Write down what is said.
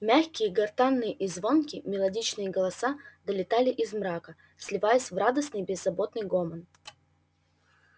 мягкие гортанные и звонкие мелодичные голоса долетали из мрака сливаясь в радостный беззаботный гомон